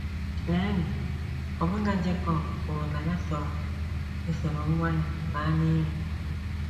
Leenụ, ọbụna Jekọb kwuru na ya chọrọ isoro nwa ya baa n’ili!